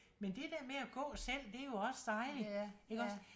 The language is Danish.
Men det der med at gå selv det jo også dejligt iggås?